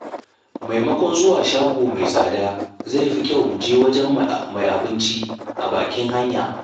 Maimakon zuwa shago mai tsada, zai fi kyau mu je wajen mai abinci a bakin hanya.